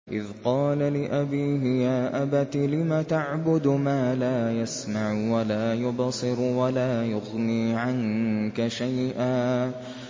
إِذْ قَالَ لِأَبِيهِ يَا أَبَتِ لِمَ تَعْبُدُ مَا لَا يَسْمَعُ وَلَا يُبْصِرُ وَلَا يُغْنِي عَنكَ شَيْئًا